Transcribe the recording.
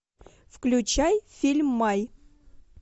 включай фильм май